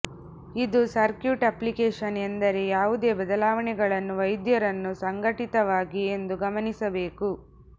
ಇದು circuit application ಎಂದರೆ ಯಾವುದೇ ಬದಲಾವಣೆಗಳನ್ನು ವೈದ್ಯರನ್ನು ಸಂಘಟಿತವಾಗಿ ಎಂದು ಗಮನಿಸಬೇಕು